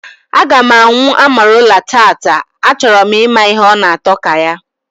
Aga m anwụ amarula tata, a choro m ịma ihe ọ na atọ ka ya